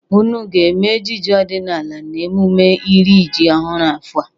Ụnụ ga-eme ejije ọdịnala n'eMụme iri ji ọhụrụ afọ a?